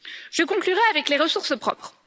Je conclurai avec les ressources propres.